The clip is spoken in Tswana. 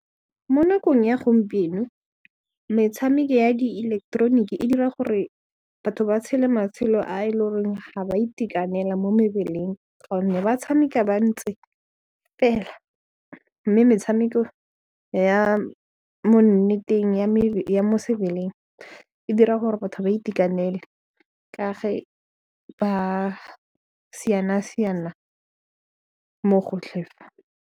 Mo nakong ya gompieno, metshameko ya diileketeroniki e dira gore batho ba tshele matshelo a e le goreng ga ba itekanela mo mebeleng gonne ba tshameka ba ntse fela mme metshameko ya mo nneteng ya mo sebeleng e dira gore batho ba itekanele ka ge ba siana-siana mo gotlhe fa.